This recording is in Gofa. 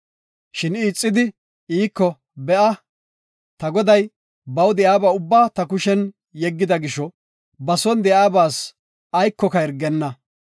Shin I ixidi, iiko, “Be7a, ta goday, baw de7iyaba ubbaa ta kushen yeggida gisho, ba son de7iyabas aykoka hirgenna.